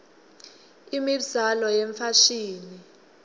imibzalo yefashini